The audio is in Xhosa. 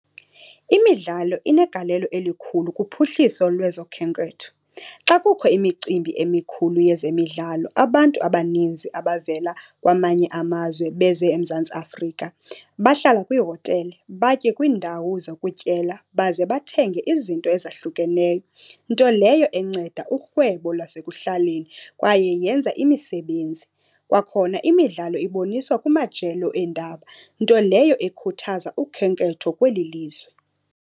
Imidlalo inegalelo elikhulu kuphuhliso lwezokhenketho. Xa kukho imicimbi emikhulu yezemidlalo abantu abaninzi abavela kwamanye amazwe beze eMzantsi Afrika bahlala kwiihotele, batye kwiindawo zokutyela, baze bathenge izinto ezahlukeneyo, nto leyo enceda urhwebo lwasekuhlaleni kwaye yenza imisebenzi. Kwakhona imidlalo iboniswa kumajelo eendaba, nto leyo ekhuthaza ukhenketho kweli lizwe.